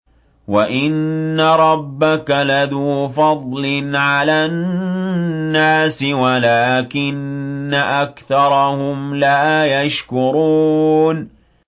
وَإِنَّ رَبَّكَ لَذُو فَضْلٍ عَلَى النَّاسِ وَلَٰكِنَّ أَكْثَرَهُمْ لَا يَشْكُرُونَ